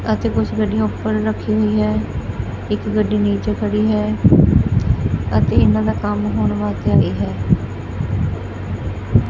ਅਤੇ ਕੁਛ ਗੱਡੀਆਂ ਉੱਪਰ ਰੱਖੀ ਹੋਈ ਹੈ ਇੱਕ ਗੱਡੀ ਨੀਚੇ ਖੜੀ ਹੈ ਅਤੇ ਇਹਨਾਂ ਦਾ ਕੰਮ ਹੋਣ ਵਾਸਤੇ ਆਈ ਹੈ।